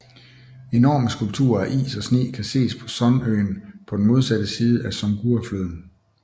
Enorme skulpturer af is og sne kan ses på Sun øen på den modsatte side af Songhua floden